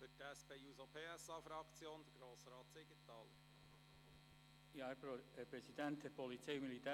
Für die SP-JUSO-PSA-Fraktion Grossrat Siegenthaler.